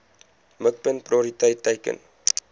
mikpunt prioriteit teiken